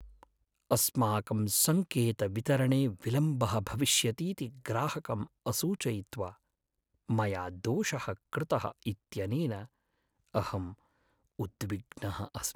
अस्माकं सङ्केतवितरणे विलम्बः भविष्यतीति ग्राहकम् असूचयित्वा मया दोषः कृतः इत्यनेन अहम् उद्विग्नः अस्मि।